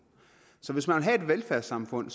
så hvis man vil have et velfærdssamfund